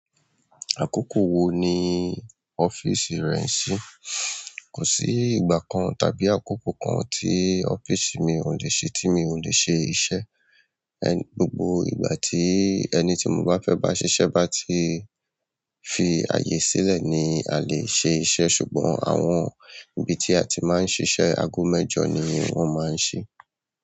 Àkókò wo ni ọ́fíìsì rẹ n ṣí? Kò sí ìgbà kan tàbí àkókò kan tí ọ́fíìsì mi ò le ṣe tí mi ò le ṣe iṣẹ́. Ẹ̀, gbogbo ìgbà tí ẹni tí mo bá fẹ́ bá ṣiṣẹ́ bá ti fi ààyè sílẹ̀ ni a lè ṣe iṣẹ́ ṣùgbọ́n àwọn ibi tí a ti máa ń ṣiṣẹ́ ago mẹ́jọ ni wọ́n máa ń ṣí.